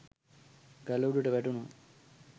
ගල උඩට වැටුනොත්